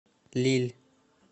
лилль